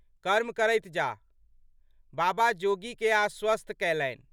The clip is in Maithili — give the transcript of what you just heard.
कर्म करैत जाह। बाबा जोगीकेँ आश्वस्त कैलनि।